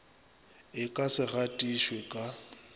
e ka se gatišwe ka